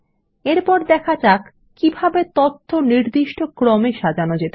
এরপর দেখা যাক কিভাবে নির্দিষ্ট ক্রমে সাজানো যায়